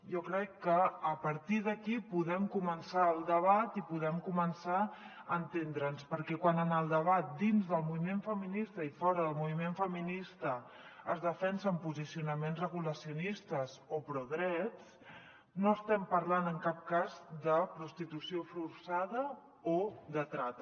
jo crec que a partir d’aquí podem començar el debat i podem començar a entendre’ns perquè quan en el debat dins del moviment feminista i fora del moviment feminista es defensen posicionaments regulacionistes o prodrets no estem parlant en cap cas de prostitució forçada o de trata